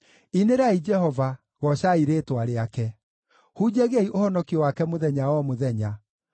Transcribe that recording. Inĩrai Jehova, goocai rĩĩtwa rĩake; hunjagiai ũhonokio wake mũthenya o mũthenya.